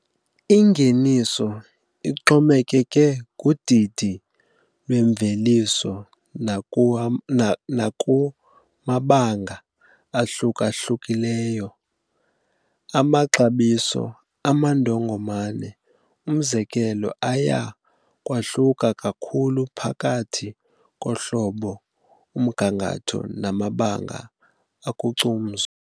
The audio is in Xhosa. Ingeniso ixhomekeke kudidi lwemveliso nakumabanga ahluka-hlukileyo. Amaxabiso amandongomane, umzekelo, aya kwahluka kakhulu phakathi kohlobo, umgangatho namabanga okucumzo.